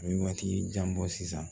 A ye waati jan bɔ sisan